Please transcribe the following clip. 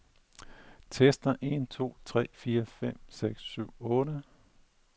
Tester en to tre fire fem seks syv otte.